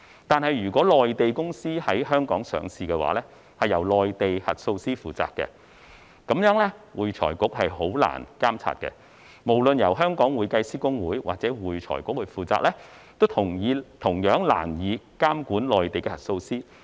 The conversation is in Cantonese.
可是，如果內地公司在香港上市，則會由內地核數師負責，這樣會財局便會難以監察，不論是由會計師公會或會財局負責，都同樣難以監管內地核數師。